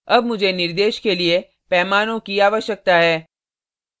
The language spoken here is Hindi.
अब मुझे निर्देश के लिए पैमानों की आवश्यकता है